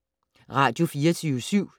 Radio24syv